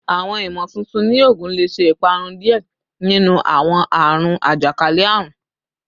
Awọn imotuntun ni oogun le ṣe iparun diẹ ninu awọn aarun ajakalẹ-arun